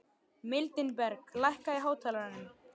Mildinberg, lækkaðu í hátalaranum.